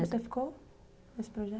você ficou nesse projeto?